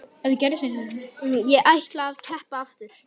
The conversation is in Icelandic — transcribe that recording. Ég ætla að keppa aftur.